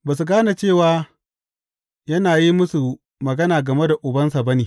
Ba su gane cewa yana yin musu magana game da Ubansa ba ne.